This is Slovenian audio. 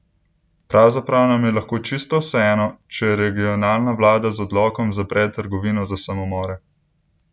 Pravzaprav nam je lahko čisto vseeno, če regionalna vlada z odlokom zapre Trgovino za samomore!